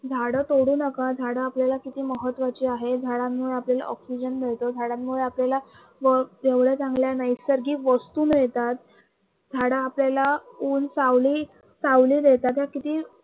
झाडं तोडू नका, झाडं आपल्याला किती महत्वाची आहे, झाडांमुळे आपल्याला oxygen मिळतो झाडांमुळे आपल्याला चांगल्या नैसर्गिक वस्तू मिळतात झाडं आपल्याला ऊन सावली